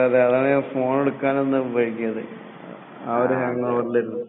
ആഹ് ഇന്നലെ പോർട്ടുഗലിന്റെയും ബ്രസീലിന്റെയും കളി കഴിഞ്ഞതാണല്ലോ അല്ലെ